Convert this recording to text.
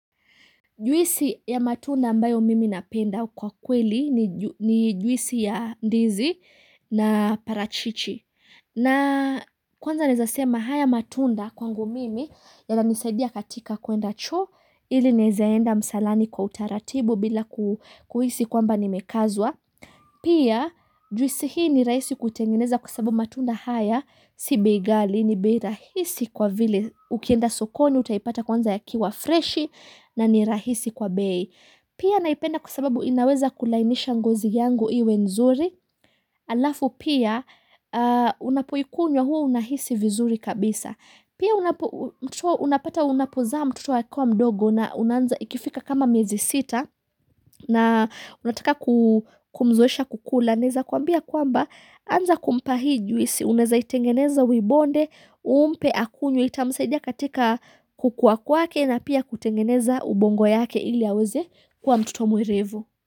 Juisi ya matunda ambayo mimi napenda kwa kweli ni juisi ya ndizi na parachichi. Na kwanza naeza sema haya matunda kwangu mimi yananisaidia katika kuenda choo, ili naweza enda msalani kwa utaratibu bila kuhisi kwamba nimekazwa. Pia juisi hii ni rahisi kuitengeneza kwa sababu matunda haya si bei ghali, ni bei rahisi kwa vile ukienda sokoni utaipata kwanza yakiwa freshi na ni rahisi kwa bei. Pia naipenda kwa sababu inaweza kulainisha ngozi yangu iwe nzuri alafu pia unapoikunywa hua unahisi vizuri kabisa. Pia unapata unapozaa mtoto akiwa mdogo na unaanza, ikifika kama miezi sita na unataka kumzoesha kukula, naweza kuambia kwamba anza kumpa hii juisi l, unaweza itengeneza uibonde, umpe akunywe, itamsaidia katika kukuwa kwake na pia kutengeneza ubongo yake ili aweze kuwa mtoto mwerevu.